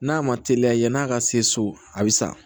N'a ma teliya yann'a ka se so a bɛ sa